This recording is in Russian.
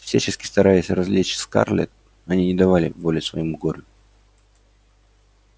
всячески стараясь развлечь скарлетт они не давали воли своему горю